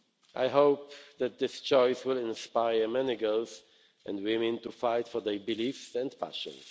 I hope that this choice will inspire many girls and women to fight for their beliefs and passions.